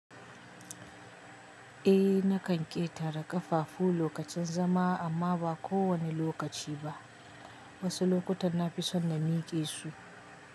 Ehh nakan ƙetara ƙafafu lokacin zama amma ba kowane lokaci ba. Wasu lokutan na fi son na miƙe su.